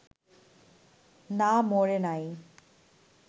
না মরে নাই